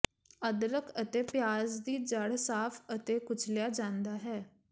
ਅਦਰਕ ਅਤੇ ਪਿਆਜ਼ ਦੀ ਜੜ੍ਹ ਸਾਫ਼ ਅਤੇ ਕੁਚਲਿਆ ਜਾਂਦਾ ਹੈ